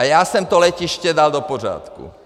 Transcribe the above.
A já jsem to letiště dal do pořádku!